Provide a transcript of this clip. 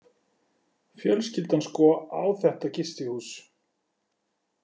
Fjölskyldan sko á þetta gistihús.